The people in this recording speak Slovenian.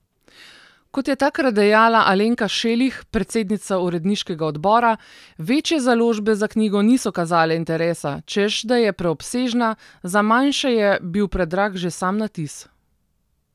Kot je takrat dejala Alenka Šelih, predsednica uredniškega odbora, večje založbe za knjigo niso kazale interesa, češ, da je preobsežna, za manjše je bil predrag že sam natis.